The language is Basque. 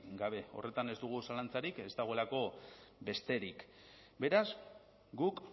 gabe horretan ez dugu zalantzarik ez dagoelako besterik beraz guk